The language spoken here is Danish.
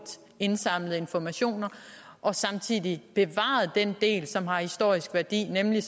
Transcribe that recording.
indsamlede informationer og samtidig bevarer den del som har historisk værdi nemlig